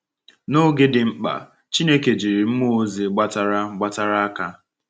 N’oge dị mkpa, Chineke jiri mmụọ ozi gbatara gbatara aka.